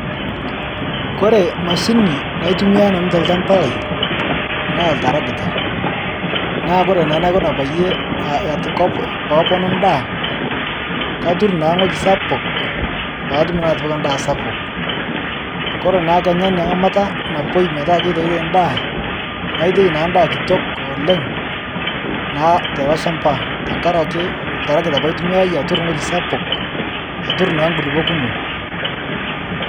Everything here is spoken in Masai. Kore imashini naitumiya nanu te ilchamba lai naa iltaragita. Naa kore naa naikuna peyie keponu indaa, katurr naa ngoji sapuk paatum naa atipika indaa sapuk. Kore naa kenya ina ng'amata napoi metaa keitaitai indaa, naitai naa indaa kitok oleng naa teilo ilshamba tengaraki iltaragita apa aitumiyaiye aturr wueji sapuk, aturr naa nkulupo kumok.